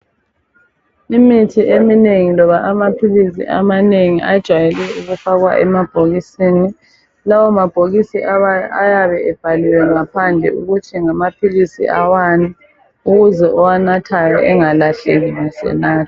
Imithi eminengi loba amaphilisi amanengi ajayele ukufakwa emabhokisini lawa mabhokisi ayabe ebhaliwe ngaphandle ukuthi ngamaphilisi awani ukuze owanathayo engakahleki nxa esenatha